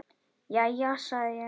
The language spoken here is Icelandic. Jæja, sagði ég.